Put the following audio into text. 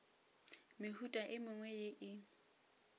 mehuta e mengwe ye e